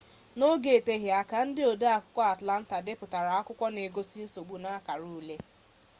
n'oge n'eteghị aka ndị ode akwụkwọ atlanta depụtara akwụkwọ nke n'egosi nsogbu n'akara ule